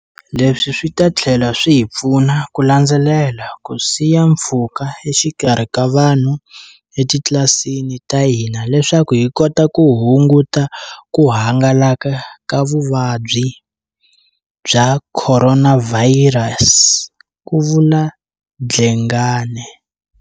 Leswi swi ta tlhela swi hi pfuna ku landzelela ku siya mpfhuka exikarhi ka vanhu etitlilasini ta hina leswaku hi kota ku hunguta ku hangalaka ka Vuvabyi bya Khoronavhariyasi, ku vula Dlengane.